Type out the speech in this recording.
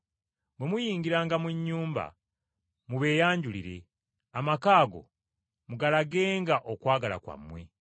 Bwe muyingiranga mu nnyumba mubeeyanjulire, amaka ago mugalagenga okwagala kwammwe.